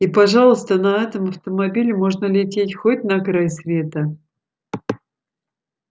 и пожалуйста на этом автомобиле можно лететь хоть на край света